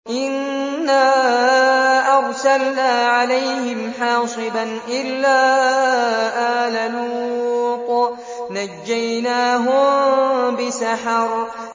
إِنَّا أَرْسَلْنَا عَلَيْهِمْ حَاصِبًا إِلَّا آلَ لُوطٍ ۖ نَّجَّيْنَاهُم بِسَحَرٍ